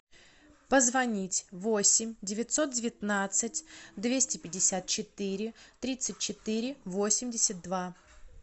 позвонить восемь девятьсот девятнадцать двести пятьдесят четыре тридцать четыре восемьдесят два